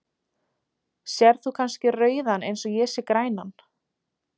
Sérð þú kannski rauðan eins og ég sé grænan?.